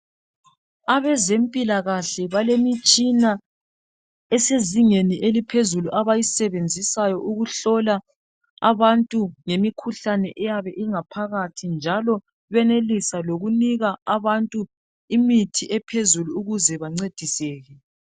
Abezempikahle balemtshina esezingeni eliphezulu abayisebenzisayo ukuhlola abantu ngemikhuhlane eyabe ingaphakathi njalo benelisa lokunika abantu imithi ephezulu ukuze bancediseke.